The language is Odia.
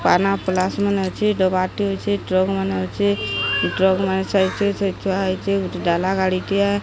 ପାନା ପ୍ଲସ୍ ମାନେ ଅଛି ଡବା ଟି ଅଛି ଟ୍ରକ ମାନ ଅଛି ଟ୍ରକ ମାନେ ସାଇଟ ସେ ସେଇଟି ଥୁଆ ହେଇଚି ଗୁଟେ ଡାଲା ଗାଡି ଟିଏ --